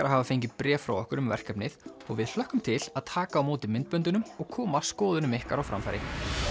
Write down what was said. að hafa fengið bréf frá okkur um verkefnið og við hlökkum til að taka á móti myndböndunum og koma skoðunum ykkar á framfæri